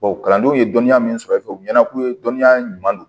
kalandenw ye dɔnniya min sɔrɔ e fɛ u ɲɛna k'u ye dɔnniya ɲuman don